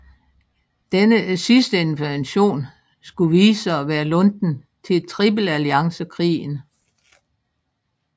Denne sidste intervention skulle vise sig at være lunten til tripelalliancekrigen